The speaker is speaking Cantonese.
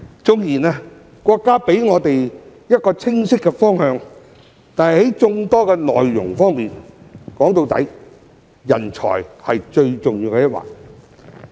縱然國家給予我們一個清晰的方向，但在眾多內容上，說到底，人才是最重要的一環。